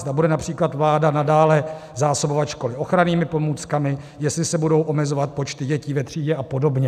Zda bude například vláda nadále zásobovat školy ochrannými pomůckami, jestli se budou omezovat počty dětí ve třídě a podobně.